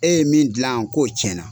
E ye min gilanyan k'o tiɲɛna.